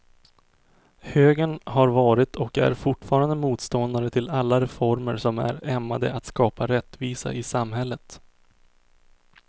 Högern har varit och är fortfarande motståndare till alla reformer som är ämnade att skapa rättvisa i samhället.